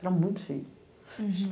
Era muito feio.